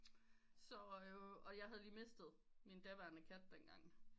Så og jeg havde lige mistet min daværende kat den gang